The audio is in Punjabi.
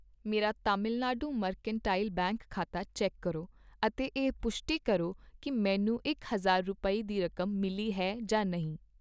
ਮੇਰਾ ਤਾਮਿਲਨਾਡੂ ਮਰਕੈਂਟਾਈਲ ਬੈਂਕ ਖਾਤਾ ਚੈੱਕ ਕਰੋ ਅਤੇ ਇਹ ਪੁਸ਼ਟੀ ਕਰੋ ਕੀ ਮੈਨੂੰ ਇਕ ਹਜ਼ਾਰ ਰੁਪਏ, ਦੀ ਰਕਮ ਮਿਲੀ ਹੈ